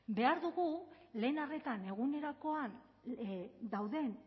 behar dugu lehen arretan egunerokoan dauden